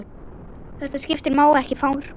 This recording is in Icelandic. Þessu skipi má ekki farga.